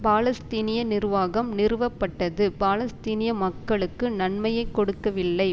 பாலஸ்தீனிய நிர்வாகம் நிறுவப்பட்டது பாலஸ்தீனிய மக்களுக்கு நன்மையை கொடுக்கவில்லை